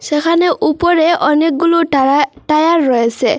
সেখানে উপরে অনেকগুলো টারা টায়ার রয়েসে।